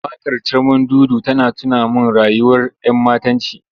Waƙar Carmandudu tana tuna min rayuwar ‘yammatanci.